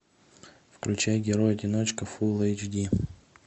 включай герой одиночка фул эйч ди